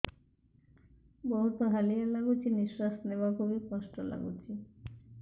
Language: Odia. ବହୁତ୍ ହାଲିଆ ଲାଗୁଚି ନିଃଶ୍ବାସ ନେବାକୁ ଵି କଷ୍ଟ ଲାଗୁଚି